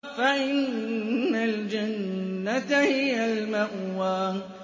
فَإِنَّ الْجَنَّةَ هِيَ الْمَأْوَىٰ